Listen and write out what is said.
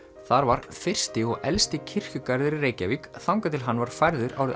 þar var fyrsti og elsti kirkjugarður í Reykjavík þangað til hann var færður árið